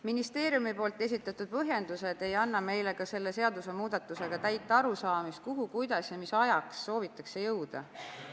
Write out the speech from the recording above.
Ministeeriumi esitatud põhjendused ei anna meile selle seadusemuudatusega täit arusaamist, kuhu, kuidas ja mis ajaks soovitakse jõuda.